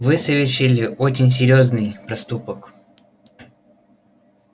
вы совершили очень серьёзный проступок